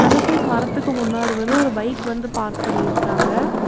இந்த சைடு மரத்துக்கு முன்னாடி வந்து ஒரு பைக் வந்து பார்க் பண்ணிருக்குறாங்க.